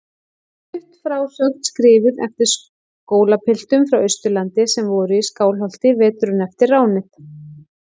Stutt frásögn skrifuð eftir skólapiltum frá Austurlandi sem voru í Skálholti veturinn eftir ránið.